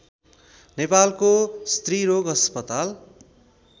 नेपालको स्त्रीरोग अस्पताल